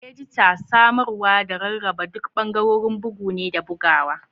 Edita, samarwa, da rarraba duk bangarorin bugu ne da bugawa.